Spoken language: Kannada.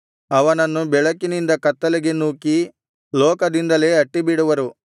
ಅವನನ್ನು ಬೆಳಕಿನಿಂದ ಕತ್ತಲೆಗೆ ನೂಕಿ ಲೋಕದಿಂದಲೇ ಅಟ್ಟಿಬಿಡುವರು